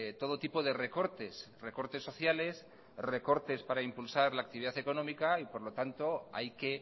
todo tipo de recortes recortes sociales recortes para impulsar la actividad económica por lo tanto hay que